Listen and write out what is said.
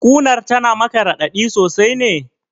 Ƙunar tana maka raɗaɗi sosai ne?